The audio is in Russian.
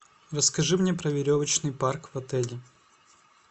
расскажи мне про веревочный парк в отеле